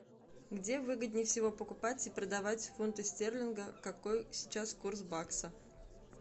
где выгоднее всего покупать и продавать фунты стерлинга какой сейчас курс бакса